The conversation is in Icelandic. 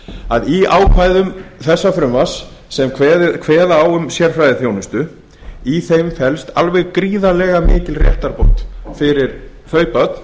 að í ákvæðum þessa frumvarps sem kveða á blaðsíðu erfærðiþjónsutu felst alveg gríðarlega mikil réttarbót fyrir þau börn